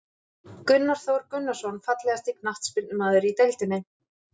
Gunnar Þór Gunnarsson Fallegasti knattspyrnumaðurinn í deildinni?